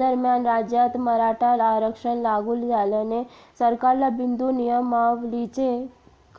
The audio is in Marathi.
दरम्यान राज्यात मराठा आरक्षण लागू झाल्याने सरकारला बिंदू नियमावलीचे